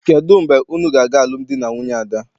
Kedụ mgbe unu na-aga alụmdi na nwunye Ada?